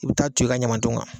I bɛ taa ton i ka ɲamaton kan.